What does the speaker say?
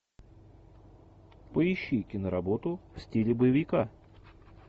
поищи киноработу в стиле боевика